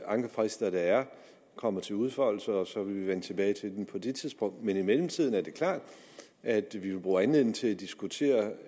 ankefrister der er kommer til udfoldelse og så vil vi vende tilbage til det på det tidspunkt men i mellemtiden er det klart at vi bruger anledningen til at diskutere